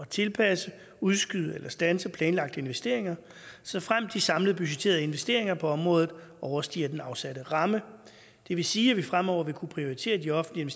tilpasse udskyde eller standse planlagte investeringer såfremt de samlede budgetterede investeringer på området overstiger den afsatte ramme det vil sige at vi fremover vil kunne prioritere de offentlige